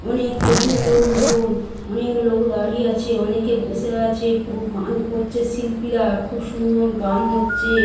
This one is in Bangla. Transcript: অনেক প্রচুর লোকজন। অনেক লোক দাঁড়িয়ে আছে অনেকে বসে আছে। পুরো গান করছে শিল্পীরা। খুব সুন্দর গান হচ্ছে।